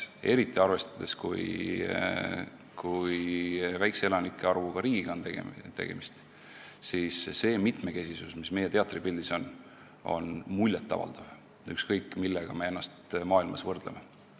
Eriti arvestades, kui väikese elanike arvuga riigiga on tegemist, on see mitmekesisus, mis meie teatripildis on, muljet avaldav, ükskõik, millega me ennast maailmas võrdleme.